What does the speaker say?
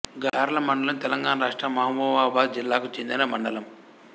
గార్ల మండలం తెలంగాణ రాష్ట్రం మహబూబాబాదు జిల్లాకు చెందిన మండలం